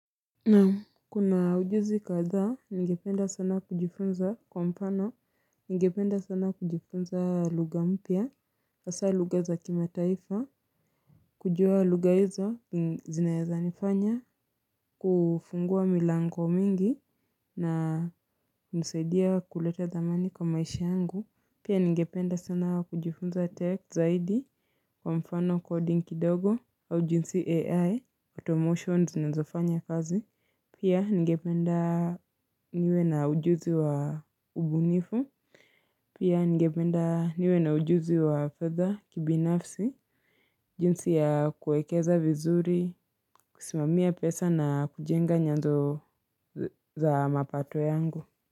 Naam kuna ujuzi kathaa ningependa sana kujifunza kwa mfano ningependa sana kujifunza lugha mpya hasa lugha za kimataifa kujua lugha hizo zinaezanifanya kufungua milango mingi na kunisaidia kuleta dhamani kwa maishi yangu Pia ningependa sana kujifunza tech zaidi kwa mfano kodi kidogo au jinsi ai automotions zinazofanya kazi Pia ngependa niwe na ujuzi wa ubunifu. Pia ngependa niwe na ujuzi wa fedha kibinafsi. Jinsi ya kuekeza vizuri, kusimamia pesa na kujenga nyanzo za mapato yangu.